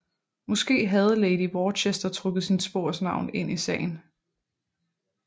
Måske havde lady Worcester trukket sin svogers navn ind i sagen